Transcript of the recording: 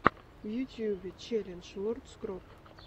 в ютюбе челлендж лорд скроп